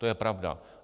To je pravda.